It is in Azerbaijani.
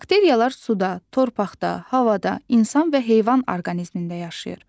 Bakteriyalar suda, torpaqda, havada, insan və heyvan orqanizmində yaşayır.